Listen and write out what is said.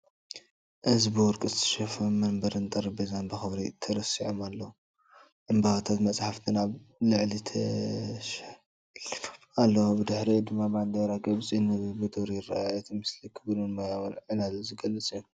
እዚ ብወርቂ ዝተሸፈነ መንበርን ጠረጴዛን ብኽብሪ ተሰሪዖም ኣለዉ። ዕምባባታትን መጻሕፍትን ኣብ ላዕሊ ተሸሊሞም ኣለው። ብድሕሪኡ ድማ ባንዴራ ግብጺ ብንጹር ይርአ። እቲ ምስሊ ክቡርን ሞያውን ዕላል ዝገልጽ እዩ።